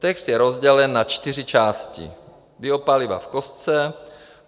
Text je rozdělen na čtyři části: Biopaliva v kostce;